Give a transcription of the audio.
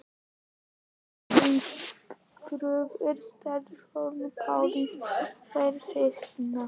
Ögri hins prúða, Staðarhóls-Páls og þeirra systkina.